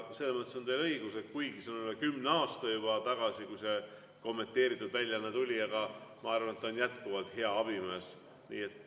Selles mõttes on teil õigus, et kuigi see on juba üle kümne aasta tagasi, kui see kommenteeritud väljaanne tuli, aga ma arvan, et ta on jätkuvalt hea abimees.